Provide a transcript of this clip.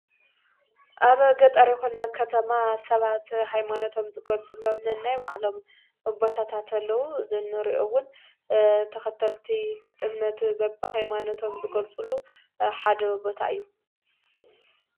ኣብ ገጠርይኮነ ኸተማ ሰባት ኃይማኖቶም ዝጐልጽሎምኒ ናይ ባዕሎም ኣቦታታተለዉ ዘኖርኦውን ተኸተልቲ እምነቲ በብ ሃይማኖቶም ዝጐልጽሉ ሓደ ቦታ እዩ።